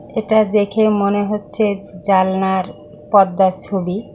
এটা দেখে মনে হচ্ছে জানলার পর্দার ছবি।